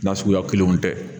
Na suguya kelenw tɛ.